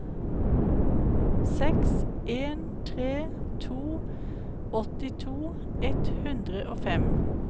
seks en tre to åttito ett hundre og fem